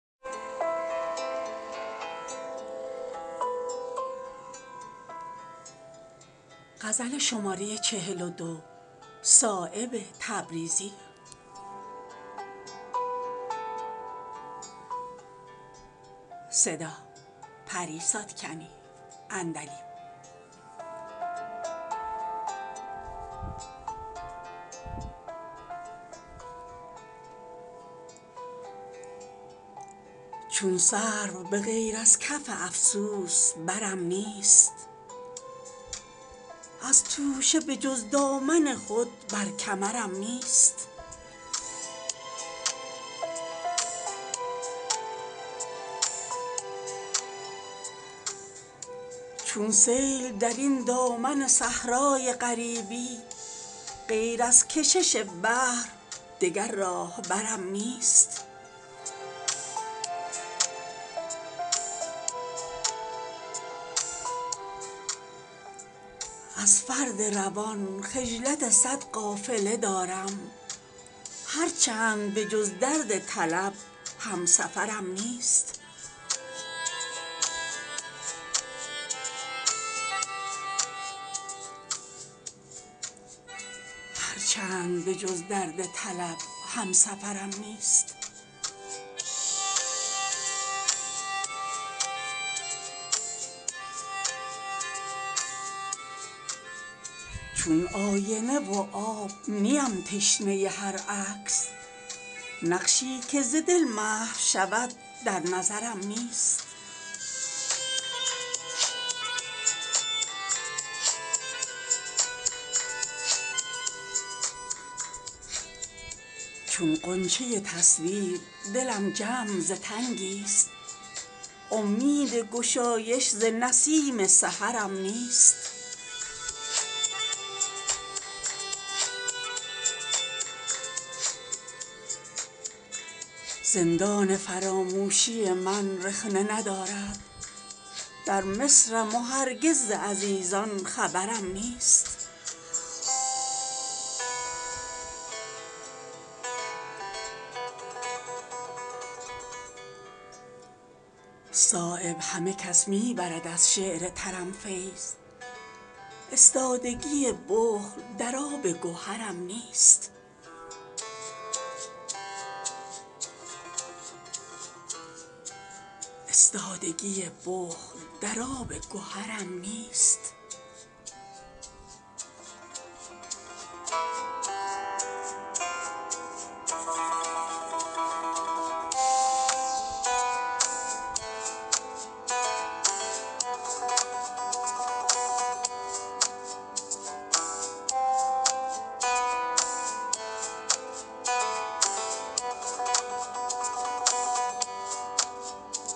چون سرو به غیر از کف افسوس برم نیست از توشه به جز دامن خود بر کمرم نیست بال و پر من چون شرر از سوختگان است هر جا نبود سوخته ای بال و پرم نیست چون تیغ مرا سختی ایام فسان است هر سنگ کم از دست نوازش به سرم نیست چون سیل درین دامن صحرای غریبی غیر از کشش بحر دگر راهبرم نیست از فرد روان خجلت صد قافله دارم هر چند به جز درد طلب همسفرم نیست چون آینه و آب نیم تشنه هر عکس نقشی که ز دل محو شود در نظرم نیست هر کس که مرا دید چو من سوخته دل شد داغی که نسوزد جگری بر جگرم نیست چون غنچه تصویر دلم جمع ز تنگی است امید گشایش ز نسیم سحرم نیست از دست عنان داده تر از موج سرابم هر چند که از منزل و مقصد خبرم نیست زندان فراموشی من رخنه ندارد در مصرم و هرگز ز عزیزان خبرم نیست صایب همه کس می برد از شعر ترم فیض استادگی بخل در آب گهرم نیست